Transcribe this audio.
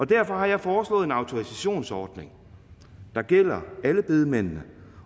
derfor har jeg foreslået en autorisationsordning der gælder alle bedemændene